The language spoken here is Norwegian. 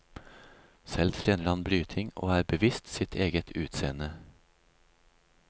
Selv trener han bryting og er bevisst sitt eget utseende.